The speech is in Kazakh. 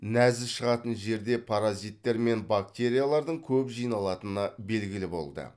нәжіс шығатын жерде паразиттер мен бактериялардың көп жиналатыны белгілі болды